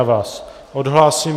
Já vás odhlásím.